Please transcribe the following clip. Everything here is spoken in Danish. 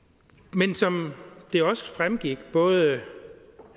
men som det også fremgik af både